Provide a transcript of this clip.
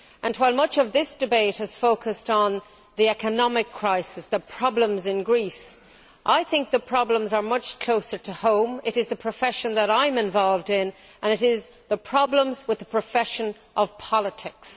While much of this debate has focused on the economic crisis and the problems in Greece, I think the problems are much closer to home. They concern the profession that I am involved in, as these are problems with the profession of politics.